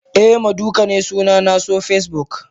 Eh maduka ne sunana so Facebook.